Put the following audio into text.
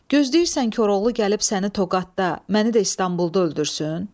Gözləyirsən Koroğlu gəlib səni Toqatda, məni də İstanbulda öldürsün.